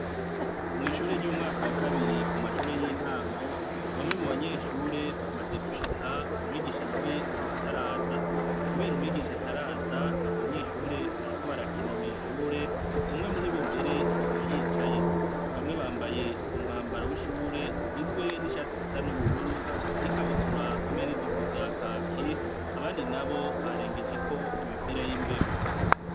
Mw' ishure ry'umwaka wa kabiri ku mashure y'intango, bamwe mu banyeshure bamaze gushika, umwigisha na we akaba taraza. Kubera umwigisha ataraza, abo banyeshure bariko barakina mw'ishure. Umwe muri bo mbere, akaba yicaye. Bamwe bambaye umwambaro w'ishure ugizwe n'ishati zisa n'ubururu, n'ikabutura hamwe n'ijipo vya kaki, abandi nabo barengejeko imipira y'imbeho.